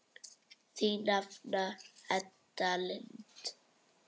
Þín nafna Edda Lind.